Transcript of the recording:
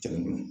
Kelen bolo